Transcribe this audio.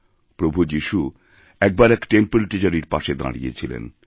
প্রভু যিশুএকবার এক টেম্পল্ ট্রেজারির পাশে দাঁড়িয়ে ছিলেন